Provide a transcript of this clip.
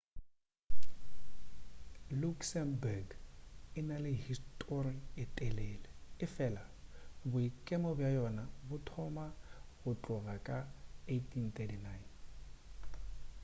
luxembourg e na le histori ye telele efela boikemo bja yona bo thoma go tloga ka 1839